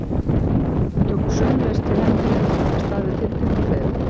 Þau tóku sömuleiðis til hendinni og hjálpuðust að við tiltekt og fleira.